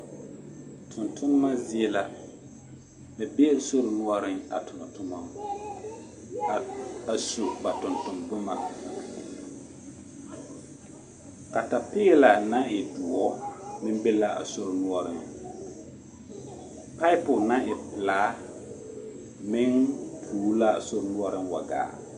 Tontonema zie la ba bee sori noɔreŋ a tonɔ tomɔ ba su ba tontoŋ boma katapeela naŋ e doɔ meŋ be la a sori noɔreŋ payipo naŋ e pelaa meŋ tuuli l'a sori noɔreŋ wa gaa.